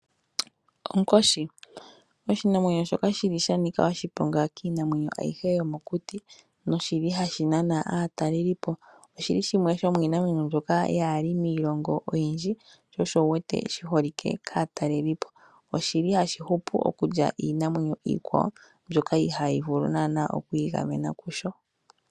Onkoshi oshinamwenyo shoka shili shanika oshiponga kiinamwenyo ayihe yomokuti noshili hashi nana aatalelipo. Oshili shimwe shomiimamwenyo mbyoka yaali miilongo oyindji sho osho wuwete shiholikwe kaatalelipo. Oshili hashi hupu okulya iinamwenyo iikwawo mbyoka ihaayi vulu nana okwiigamena kusho.